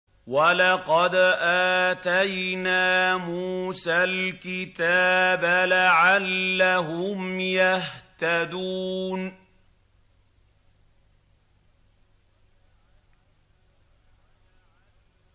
وَلَقَدْ آتَيْنَا مُوسَى الْكِتَابَ لَعَلَّهُمْ يَهْتَدُونَ